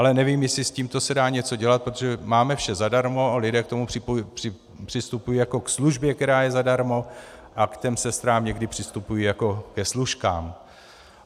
Ale nevím, jestli s tímto se dá něco dělat, protože máme vše zadarmo a lidé k tomu přistupují jako k službě, která je zadarmo, a k těm sestrám někdy přistupují jako ke služkám.